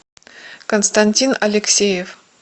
константин алексеев